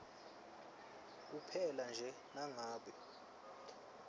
kuphela nje nangabe